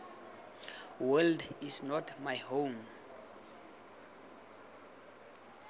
world is not my home